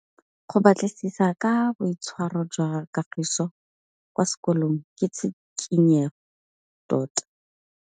Go batlisisa ka boitshwaro jwa Kagiso kwa sekolong ke tshikinyêgô tota.